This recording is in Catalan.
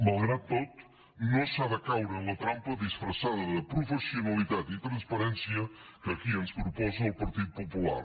malgrat tot no s’ha de caure en la trampa disfressada de professionalitat i transparència que aquí ens proposa el partit popular